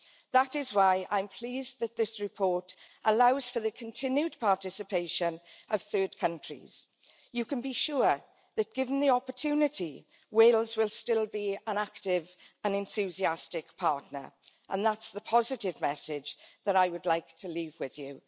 That is why I am pleased that this report allows for the continued participation of third countries. You can be sure that given the opportunity, Wales will still be an active and enthusiastic partner, and that's the positive message that I would like to leave with you.